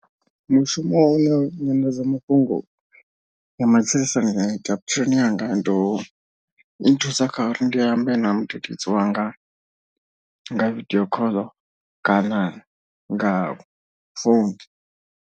Mushumo wa u ne nyanḓadzamafhungo ya matshilisano ya ita vhutshiloni hanga ndi u nthusa kha uri ndi ambe na mudededzi wanga nga video call kana nga phone.